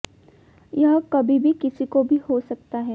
यह कभी भी किसी को भी हो सकता है